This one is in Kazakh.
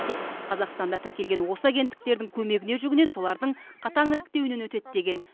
тек қазақстанда тіркелген осы агенттіктердің көмегіне жүгінеді солардың қатаң іріктеуінен өтеді деген